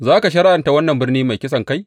Za ka shari’anta wannan birni mai kisankai?